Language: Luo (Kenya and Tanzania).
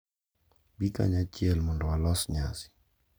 Bi kanyachiel mondo walos nyasi